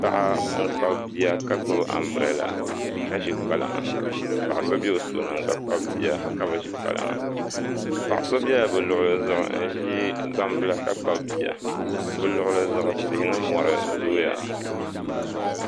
Paɣa n kpabi bia ka gbubi anbirɛla ka ʒi kpalaŋa ka paɣa so bɛ o tooni n gba kpabi bia ka bi ʒi kpalaŋa paɣa so biɛla bi luɣuli zuɣu n ʒi gbambila ka kpabi Bia bi luɣuli zuɣu tihi ni mori zooya